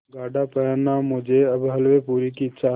गाढ़ा पहनना मुझे अब हल्वेपूरी की इच्छा है